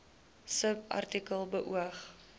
subartikel beoog